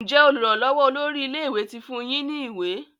Njé olùrànlówó olórí ilé ìwé tí fún yín ní ìwé?